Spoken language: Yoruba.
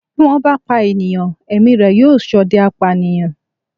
Bí wọ́n bá pa ènìyàn, ẹ̀mí rẹ̀ yóò ṣọdẹ apànìyàn.